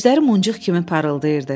Gözləri muncuq kimi parıldayırdı.